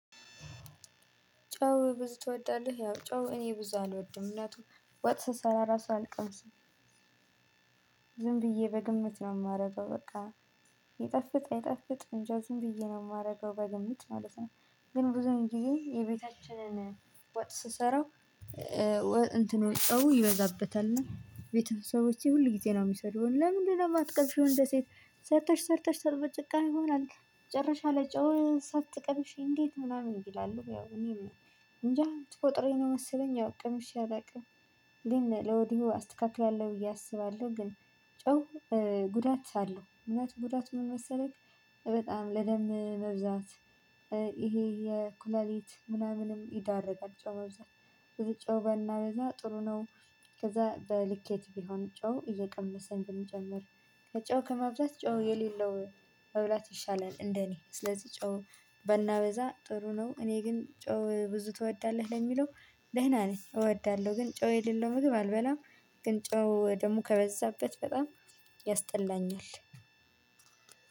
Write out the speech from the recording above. ጫው ብዙ ትወዳለህ? ያው ጨው እኔ ብዙ አልወድም። ምክንያቱም ወጥ ስሰራ ራሱ አልቀምስም። ዝም ብዬ በግምት ነው የማደርገው በቃ። ይጣፍጥ አይጣፍጥ እንጃ ዝም ብዬ ነው የማደርገው በግምት ማለት ነው። ግን ብዙም ጊዜ የቤታችንን ወጥ ስሰራው- ወጥ እንትኑ ጨው ይበዛበታል። እና ቤተሰቦቼ ሁል ጊዜ ነው የሚሰድቡኝ ለምንድነው የማትቀምሽው እንደ ሴት ሰርተሽ ሰርተሽ ሰርተሽ በጭቃሚ ሆናለች መጨረሻ ላይ ጨውሽ ሳትቀብሺ እንዴት ምናምን ይላሉ ያው እኔም- እንጃ ተፈጥሮዬ ነው መሰለኝ ያው ቀ ምሽ አላውቅም። ግን ለወዲሁ አስተካክላለሁ ብዬ አስባለሁ። ግን ጨው ጉዳት አለው። ጉዳቱ ምን መሰላችሁ በጣም ለደም መብዛት ይሄ የኩላሊት ምናምንም ይዳርጋቸዋል በብዛት ብዙ ጨው በናበዛ ጥሩ ነው። ከዛ በልኬት ቢሆን ጨው እየቀመሰን ብንጨምር ጨው ከማብዛት ጨው የሌለው መብላት ይሻላል እንደኔ። ስለዚህ ጨው ባናበዛ ጥሩ ነው። እኔ ግን ጨው ብዙ ትወዳለህ ለሚለው- ደህና ነኝ እወዳለሁ። ግን ጨው የሌለው ምግብ አልበላም። ግን ጨው ደግሞ ከበዛበት በጣም ያስጠላኛል።